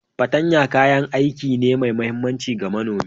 Patanya kayan aiki ne mai mahimmanci ga manomi.